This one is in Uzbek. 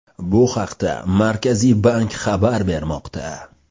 Bu haqda Markaziy bank xabar bermoqda .